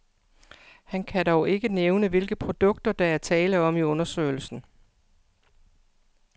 Han kan dog ikke nævne, hvilke produkter, der er tale om i undersøgelsen.